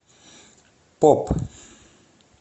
поп